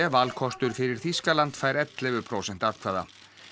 valkostur fyrir Þýskaland fær ellefu prósent atkvæða